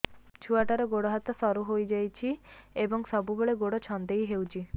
ଛୁଆଟାର ଗୋଡ଼ ହାତ ସରୁ ହୋଇଯାଇଛି ଏବଂ ସବୁବେଳେ ଗୋଡ଼ ଛଂଦେଇ ହେଉଛି